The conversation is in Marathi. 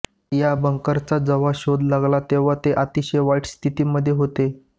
या बंकरचा जेव्हा शोध लागला तेव्हा ते अतिशय वाईट स्थितीमध्ये होते